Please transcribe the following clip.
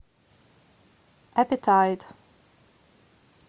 апетайт